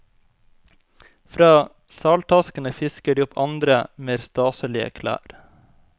Fra saltaskene fisker de opp andre, mer staselige klær.